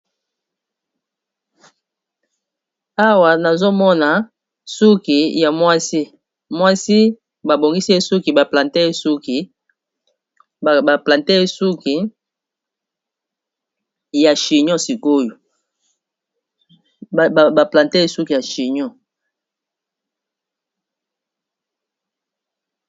Awa nazomona suki ya mwasi, mwasi ba bongisi ye suki ba planter suki ya shinyo.